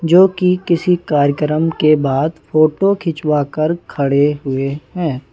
जो कि किसी कार्यक्रम के बाद फोटो खिंचवा कर खड़े हुए हैं।